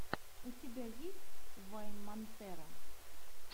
у тебя есть вайн монтера